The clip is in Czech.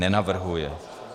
Nenavrhuje.